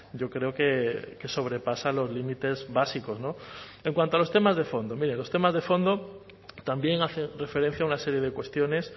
yo creo que sobrepasa los límites básicos no en cuanto a los temas de fondo miren los temas de fondo también hacen referencia a una serie de cuestiones